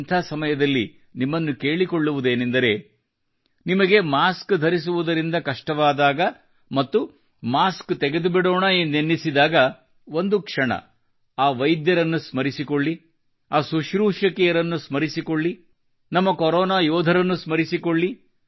ಇಂಥ ಸಮಯದಲ್ಲಿ ನಿಮ್ಮನ್ನು ಕೇಳಿಕೊಳ್ಳುವುದೇನೆಂದರೆ ನಿಮಗೆ ಮಾಸ್ಕ್ ಧರಿಸುವುದರಿಂದ ಕಷ್ಟವಾದಾಗ ಮತ್ತು ಮಾಸ್ಕ ತೆಗೆದುಬಿಡೋಣ ಎಂದೆನ್ನಿಸಿದಾಗ ಒಂದು ಕ್ಷಣ ಆ ವೈದ್ಯರನ್ನು ಸ್ಮರಿಸಿಕೊಳ್ಳಿ ಆ ಸುಶ್ರೂಷಕಿಯರನ್ನು ಸ್ಮರಿಸಿಕೊಳ್ಳಿ ನಮ್ಮ ಕೊರೊನಾ ಯೋಧರನ್ನು ಸ್ಮರಿಸಿಕೊಳ್ಳಿ